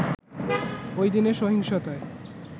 ওইদিনের সহিংসতায়